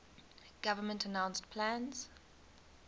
government announced plans